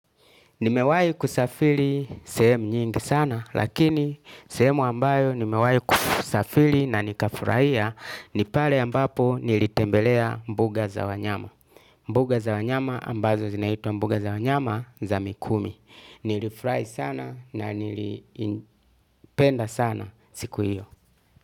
Nimewai kusafili sehemu nyingi sana lakini sehemu ambayo nimewai kusafili na nika furaia ni pale ambapo nilitembelea mbuga za wanyama. Mbagu za wanyama ambazo zinaitwa mbuga za wanyama za mikumi. Nilifrai sana na nilipenda sana siku hiyo.